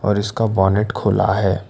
और इसका बोनट खुला है।